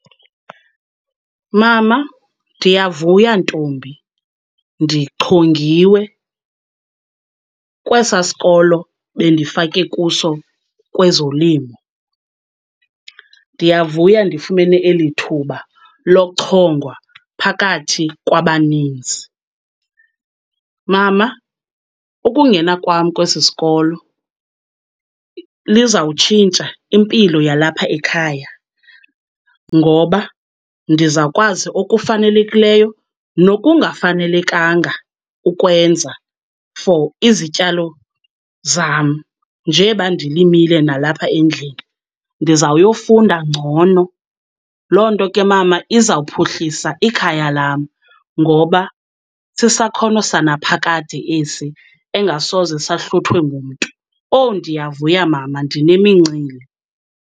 Mama ndiyavuya ntombi, ndichongiwe kwesaa sikolo bendifake kuso kwezolimo. Ndiyavuya ndifumene eli thuba lochongwa phakathi kwabaninzi. Mama ukungena kwam kwesi sikolo lizawutshintsha impilo yalapha ekhaya, ngoba ndizakwazi okufanelekileyo nokungafanelekanga ukwenza for izityalo zam njeba ndilimile nalapha endlini. Ndizawuyofunda ngcono, loo nto ke mama izawuphuhlisa ikhaya lam ngoba sisakhono sanaphakade esi engasoze sahluthwe ngumntu. Oh ndiyavuya mama, ndinemincili.